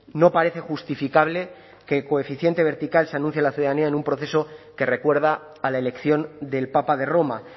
no parece justificable que el coeficiente vertical se anuncie a la ciudadanía en un proceso que recuerda a la elección del papa de roma